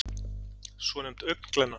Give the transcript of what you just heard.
svonefnd augnglenna